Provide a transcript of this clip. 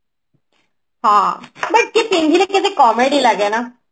but କିଏ ପିନ୍ଧିଲେ କେତେ comedy ଲଗେନା